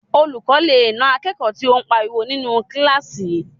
Olùkọ́ lè na akẹ́kọ̀ọ́ tí o n pariwo ninu kílásì